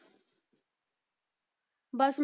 ਬਸ